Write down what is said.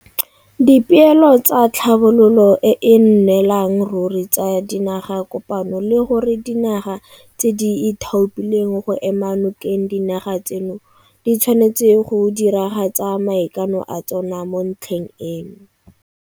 Dipeelo tsa Tlhabololo e e Nnelang Ruri tsa Dinagakopano le gore dinaga tse di ithaopileng go ema nokeng dinaga tseno di tshwanetse go diragatsa maikano a tsona mo ntlheng eno.